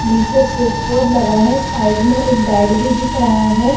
निचे switchboard लगा है साइड में एक बेड दिख रहा है।